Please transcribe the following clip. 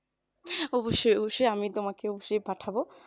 অবশ্যই অবশ্যই, আমি তোমাকে অবশ্যই পাঠাবো